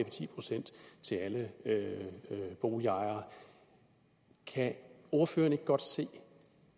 ti procent til alle boligejere kan ordføreren ikke godt se